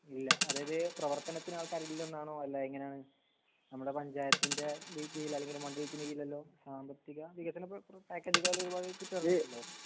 ഇല്ല അതായത് പ്രവർത്തനത്തിന് ആൾക്കാര് ഇല്ലെന്നാണോ അല്ല എങ്ങനേണ് നമമുടെ പഞ്ചായത്തിന്റെ ഈ കീഴിൽ അല്ലെങ്കി മണ്ഡലത്തിന്റെ കീഴില്ലലോ സാമ്പത്തിക വികസന പ്ര പ്ര പാക്കേജ് കാൽ